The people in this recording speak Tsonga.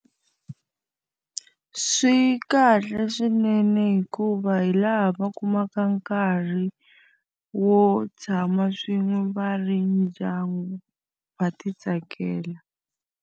Swi kahle swinene hikuva hi laha va kumaka nkarhi wo tshama swin'we va ri ndyangu, va ti tsakela.